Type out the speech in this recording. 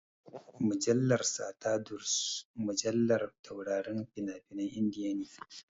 Mujallar Stardust mujallar taurarin fina-finan Indiya ne.